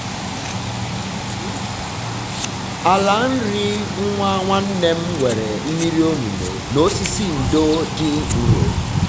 ala nri nwa nwanne m nwere mmiri olulu um na osisi ndo dị nro.